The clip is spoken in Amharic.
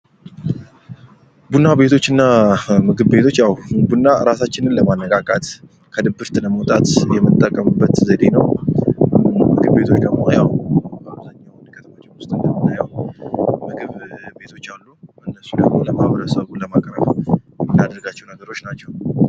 ቡና ቤቶችና ምግብ ቤቶች ያው ራሳችንን ለማነቃቃት፤ ከድብርት ለማውጣት የመጠቀምበት ዘዴ ነው። ምግብ ቤቶች አሉ። እነሱን ለማህበረሰቡ ለማቅረብ የምናደርጋቸው ነገሮች ናቸው።